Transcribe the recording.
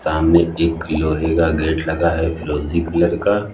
सामने एक लोहे का गेट लगा है फिरोजी कलर का--